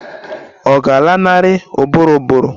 Ọ̀ ga-alanarị ụbụrụ ụbụrụ?